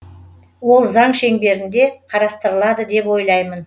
ол заң шеңберінде қарастырылады деп ойлаймын